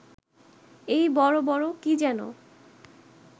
এই বড় বড় কি যেন